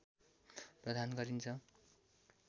प्रदान गरिन्छ